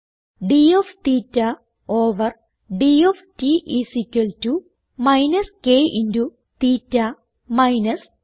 d of theta over d of t is equal to minus k into theta minus സ്